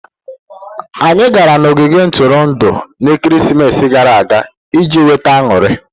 Anyị gara n'ogige Ntụrụndụ na-ekeresimesi gara aga iji nweta aṅụrị.